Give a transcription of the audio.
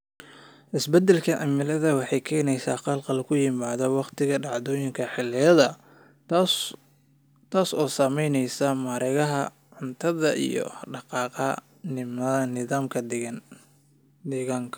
Isbeddelka cimiladu waxay keenaysaa khalkhal ku yimaadda wakhtiga dhacdooyinka xilliyeedka, taas oo saamaynaysa mareegaha cuntada iyo dhaqdhaqaaqa nidaamka deegaanka.